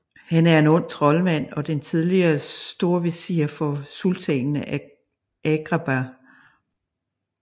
Han er en ond troldmand og den tidligere storvesir for Sultanen af Agrabah